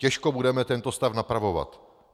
Těžko budeme tento stav napravovat.